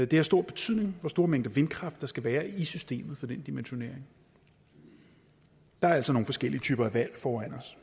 det har stor betydning hvor store mængder vindkraft der skal være i systemet for den dimensionering der er altså nogle forskellige typer valg foran os